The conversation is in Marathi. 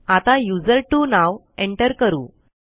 आता युझर्टवो नाव एंटर करू